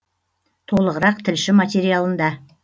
толығырақ тілші материалында